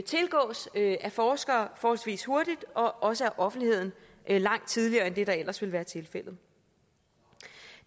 tilgås af forskere forholdsvis hurtigt og også af offentligheden langt tidligere end det der ellers ville være tilfældet